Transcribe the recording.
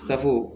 Safo